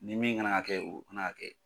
Ni min kana ka kɛ o kana ka kɛ.